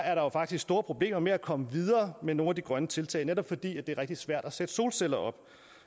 er der jo faktisk store problemer med at komme videre med nogle af de grønne tiltag netop fordi det er rigtig svært at sætte solceller op